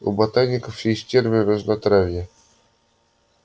у ботаников есть термин разнотравье